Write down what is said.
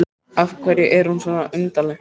Af hverju er hún svona undarleg?